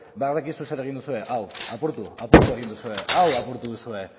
badakizue zer egin duzue hau apurtu apurtu egin duzue hau apurtu duzue